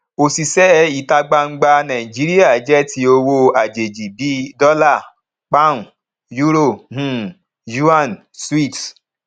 òṣìṣẹ ìta gbangba nàìjíríà jẹ ti owó àjèjì bí dólà poun euro yuan switz